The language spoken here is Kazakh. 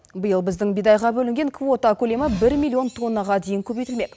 биыл біздің бидайға бөлінген квота бір миллион тоннаға дейін көбейтілмек